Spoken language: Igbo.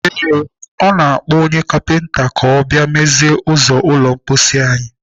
Ee, ọ na-akpọ onye kapinta ka ọ mezie ụzọ ụlọ mposi anyị.